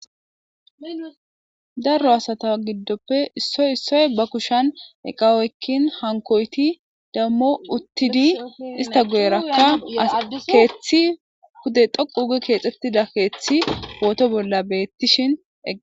darro asata giddoppe issoy issoy ba kushan eqawoykkin hankoyti dammo uttidi ista gu7erakka as keeththi hude xoqu uge keexxettida keeththi pooto bolla beettishin ega